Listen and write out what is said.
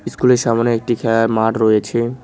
ইস্কুলের সামনে একটি খেয়ার মাঠ রয়েছে।